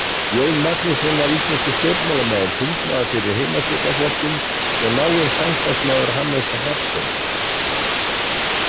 Jón Magnússon var íslenskur stjórnmálamaður, þingmaður fyrir Heimastjórnarflokkinn og náinn samstarfsmaður Hannesar Hafstein.